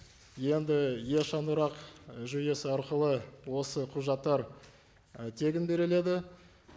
енді е шаңырақ і жүйесі арқылы осы құжаттар ы тегін беріледі